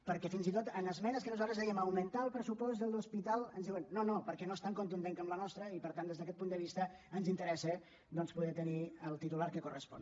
perquè fins i tot en esmenes en què nosaltres dèiem augmentar el pressupost de l’hos·pital ens diuen no no perquè no és tan contundent com la nostra i per tant des d’aquest punt de vista ens interessa poder tenir el titular que correspon